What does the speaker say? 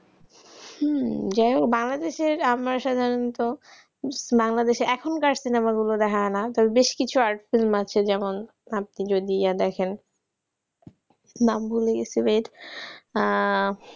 উম যাই হোক বাংলাদেশের আমরা সাধারণত, বাংলাদেশে এখনকার সিনেমা গুলো দেখায় না, তবে বেশ কিছু art film আছে যেমন, আপনি যদি গিয়ে দেখেন নাম ভুলে গেছি wait